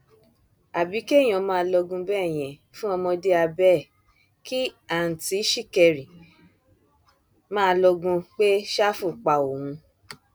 àbí kéèyàn máa lọgun bẹẹ yẹn fún ọmọdé abẹ ẹ kí àùntì ṣìkẹrì máa lọgun pé ṣáfù pa òun